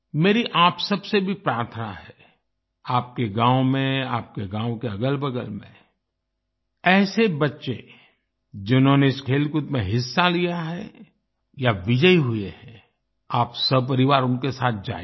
मेरी आप सब से भी प्रार्थना है आपके गाँव में आपके गाँव के अगलबगल में ऐसे बच्चे जिन्होंने इस खेलकूद में हिस्सा लिया है या विजयी हुए हैं आप सपरिवार उनके साथ जाइए